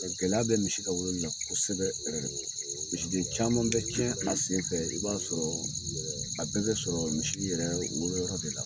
Gɛlɛya bɛ misi ka wololila kosɛbɛ misiden caman bɛ cɛn a senfɛ i b'a sɔrɔ, a bɛɛ bɛ sɔrɔ misi yɛrɛ wolo yɔrɔ de la